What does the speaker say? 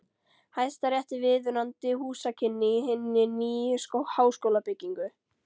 Hæstarétti viðunandi húsakynni í hinni nýju háskólabyggingu.